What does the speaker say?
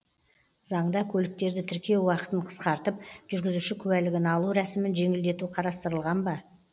заңда көліктерді тіркеу уақытын қысқартып жүргізуші куәлігін алу рәсімін жеңілдету қарастырылған ба